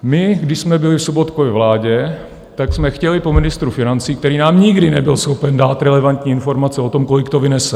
My když jsme byli v Sobotkově vládě, tak jsme chtěli po ministru financí, který nám nikdy nebyl schopen dát relevantní informace o tom, kolik to vynese.